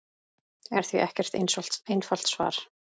er því ekkert einfalt svar.